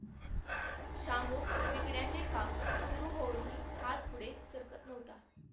श्याम विकण्याचे काम सुरु करूनही हात पुढे सरकत नव्हता